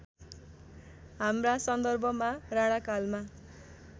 हाम्रा सन्दर्भमा राणाकालमा